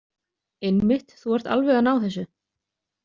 Einmitt, þú ert alveg að ná þessu.